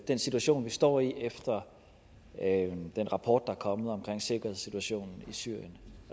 den situation vi står i efter den rapport er kommet om sikkerhedssituationen i syrien